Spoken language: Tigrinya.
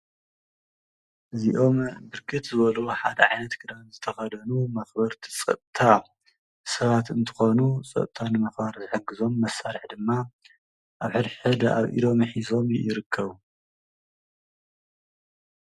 እዚኦም ብርክት ዝበሉ ሓደ ዓይነት ክዳን ዝተከደኑመክበርቲ ፀፀታ ሰባት እንትኾኑ ፀፅታ መክበሪ ዝሕግዞም መሳሪሒ ድማ ሕድሕድ ኣብ ኢዶም ሒዞም ይርከቡ።